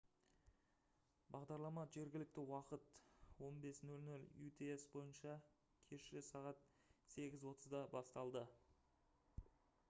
бағдарлама жергілікті уақыт 15.00 utc бойынша кеші сағат 8:30-да басталды